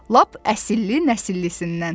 Lap əsilli-nəsillisindən.